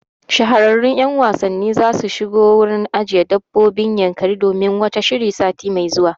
Shahararrun wasanni zasu shigo wurin ajiyan dabbobin Yankari domin wata shiri sati mai zuwa